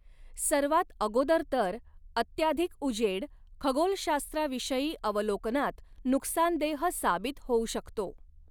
सर्वात अगोदर तर अत्याधिक उजेड खगोलशास्त्राविषयी अवलोकनात नुकसानदेह साबित होउ शकतो.